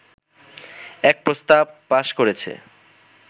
এক প্রস্তাব পাশ করেছে